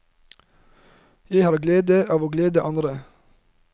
Jeg har glede av å glede andre.